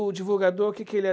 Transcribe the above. O divulgador, o que que ele é?